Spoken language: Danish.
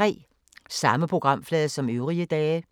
Samme programflade som øvrige dage